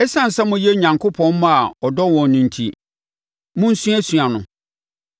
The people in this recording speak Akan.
Esiane sɛ moyɛ Onyankopɔn mma a ɔdɔ wɔn no enti, monsuasua no